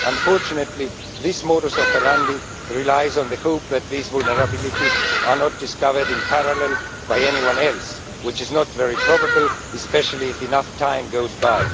Unfortunately, this modus operandi relies on the hope that these vulnerabilities are not discovered in parallel by anyone else, which is not very probable, especially if enough time goes by.